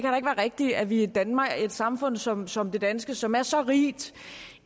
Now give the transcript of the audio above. rigtigt at vi i danmark i et samfund som som det danske som er så rigt